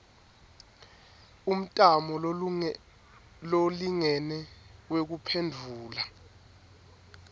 umtamo lolingene wekuphendvula